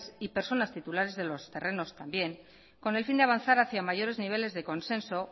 y titulares personales de los terrenos también con el fin de avanzar a mayores niveles de consenso